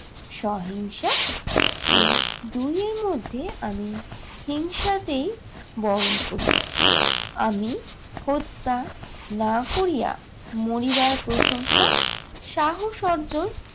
সহিংসা এই দুইয়ের মধ্যে আমি হিংসাকেই বরণ করি। আমি হত্যা না করিয়া মরিবার প্রশংসা, সাহস অর্জন